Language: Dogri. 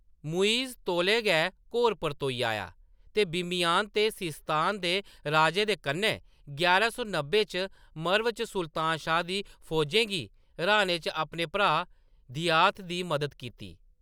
मुइज़ तौले गै घोर परतोई आया, ते बामियान ते सिस्तान दे राजें दे कन्नै, यारां सौ नब्बै च मर्व च सुल्तान शाह दी फौजै गी र्‌हाने च अपने भ्राऽ घियाथ दी मदद कीती।